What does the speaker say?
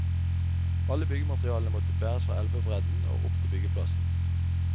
Alle byggematerialene måtte bæres fra elvebredden og opp til byggeplassen.